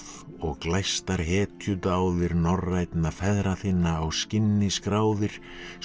og glæstar hetjudáðir norrænna feðra þinna á skinnin skráðir svo